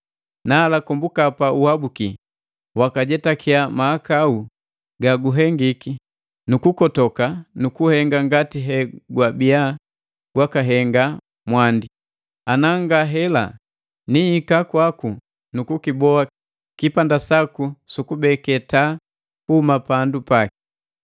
Nala, kombuka pa uhabuki, waka jetakya mahakau ga guhengiki nu kukotoka nu kuhenga ngati he gwabia gwakahenga mwandi. Ana nga hela, nihika kwaku nu kukiboa kipanda saku su kubeke taa kuhuma pandu paki.